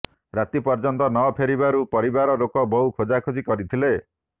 ରାତି ପର୍ଯ୍ୟନ୍ତ ନ ଫେରିବାରୁ ପରିବାର ଲୋକ ବହୁ ଖୋଜାଖୋଜି କରିଥିଲେ